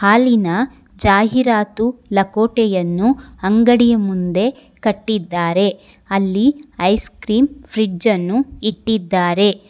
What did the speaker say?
ಅಲ್ಲಿನ ಜಾಹೀರಾತು ಲಕೋಟೆಯನ್ನು ಅಂಗಡಿಯ ಮುಂದೆ ಕಟ್ಟಿದ್ದಾರೆ ಅಲ್ಲಿ ಐಸ್ ಕ್ರೀಮ್ ಫ್ರಿಡ್ಜನ್ನು ಇಟ್ಟಿದ್ದಾರೆ.